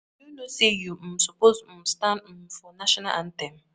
You no know say you um suppose um stand um for national anthem.